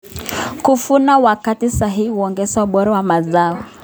Kuvuna wakati sahihi huongeza ubora wa mazao.